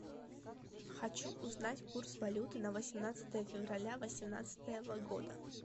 хочу узнать курс валюты на восемнадцатое февраля восемнадцатого года